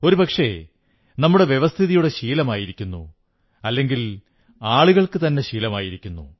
ഒരുപക്ഷേ നമ്മുടെ വ്യവസ്ഥിതിയുടെ ശീലമായിരിക്കുന്നു അല്ലെങ്കിൽ ആളുകൾക്കുതന്നെ ശീലമായിരിക്കുന്നു